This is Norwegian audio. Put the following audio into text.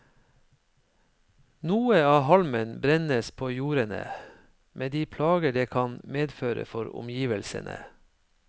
Noe av halmen brennes på jordene, med de plager det kan medføre for omgivelsene.